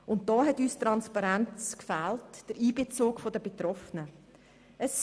Diesbezüglich haben uns die Transparenz und der Einbezug der Betroffenen gefehlt.